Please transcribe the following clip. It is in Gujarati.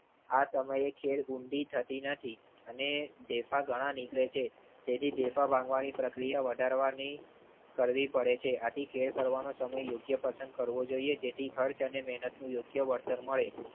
આ સમયે ખેડ ઊંડી થતી નથી અને ઢેફા ઘણા નીકળે છે તેથી ઢેફા બાંધવાની પ્રક્રિયા વધારવાની કરવી પડે છે. આથી ખેડ કરવાનો સમય યોગ્ય પસંદ કરવો જોઈએ જેથી ખર્ચ અને મેહનત યોગ્ય વળતર મળે.